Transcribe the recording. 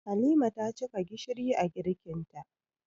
Halima ta cika gishiri a girkin ta